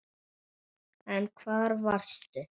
En hvar varstu?